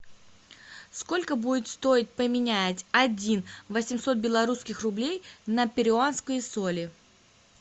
сколько будет стоить поменять один восемьсот белорусских рублей на перуанские соли